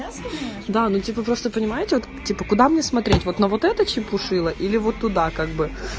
да ну типа просто понимаете вот типа куда мне смотреть вот на вот это чепушило или вот туда как бы